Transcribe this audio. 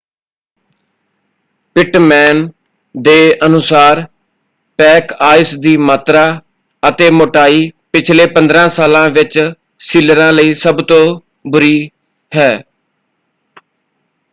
Pitman ਦੇ ਅਨੁਸਾਰ pack ice ਦੀ ਮਾਤਰਾ ਅਤੇ ਮੋਟਾਈ ਪਿਛਲੇ 15 ਸਾਲਾਂ ਵਿੱਚ ਸੀਲਰਾਂ ਲਈ ਸਭ ਤੋਂ ਬੁਰੀ ਹੈ।